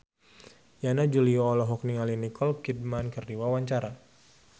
Yana Julio olohok ningali Nicole Kidman keur diwawancara